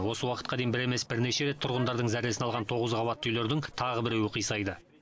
осы уақытқа дейін бір емес бірнеше рет тұрғындардың зәресін алған тоғыз қабатты үйлердің тағы біреуі қисайды